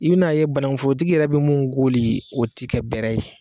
I bɛ n'a ye bananku foro tigi yɛrɛ bɛ mun koli o tɛ kɛ bɛɛrɛ ye.